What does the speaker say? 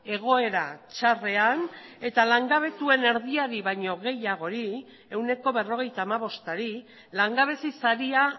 egoera txarrean eta langabetuen erdiari baino gehiagori ehuneko berrogeita hamabostari langabezi saria